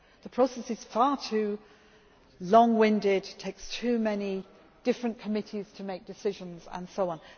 process. The process is far too long winded, takes too many different committees to make decisions and